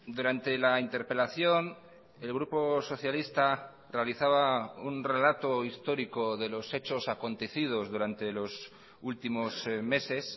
durante la interpelación el grupo socialista realizaba un relato histórico de los hechos acontecidos durante los últimos meses